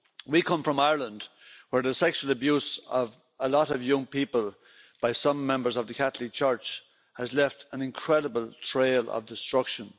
We come from Ireland, where the sexual abuse of a lot of young people by some members of the Catholic Church has left an incredible trail of destruction.